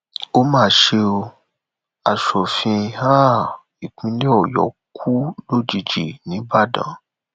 ó mà ṣe o aṣòfin um ìpínlẹ ọyọ kù lójijì nìbàdàn